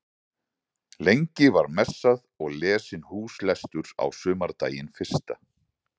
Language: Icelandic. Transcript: Lengi var messað og lesinn húslestur á sumardaginn fyrsta.